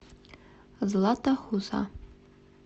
злата хуса